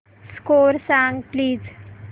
score सांग please